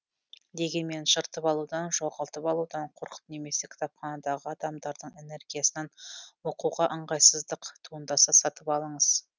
дегенмен жыртып алудан жоғалтып алудан қорқып немесе кітапханадағы адамдардың энергиясынан оқуға ыңғайсыздық туындаса сатып алыңыз